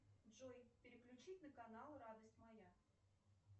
джой переключить на канал радость моя